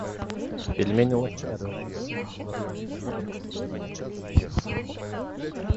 пельмени ложкарев с доставкой на дом город ярославль